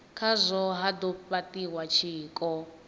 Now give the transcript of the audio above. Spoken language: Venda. khazwo ha do fhatiwa tshiko